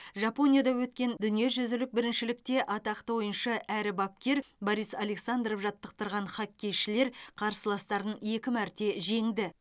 жапонияда өткен дүниежүзілік біріншілікте атақты ойыншы әрі бапкер борис александров жаттықтырған хоккейшілер қарсыластарын екі мәрте жеңді